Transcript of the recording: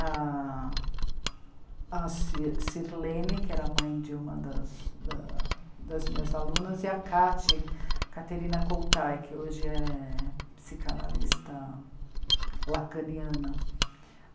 A... a Sir Sirlene, que era a mãe de uma das da... das minhas alunas, e a Cate, Caterina Coutai, que hoje é psicanalista lacaniana.